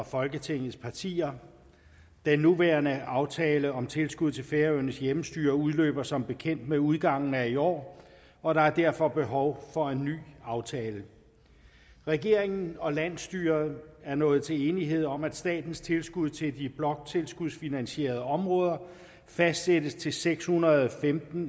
folketingets partier den nuværende aftale om tilskud til færøernes hjemmestyre udløber som bekendt ved udgangen af i år og der er derfor behov for en ny aftale regeringen og landsstyret er nået til enighed om at statens tilskud til de bloktilskudsfinansierede områder fastsættes til seks hundrede og femten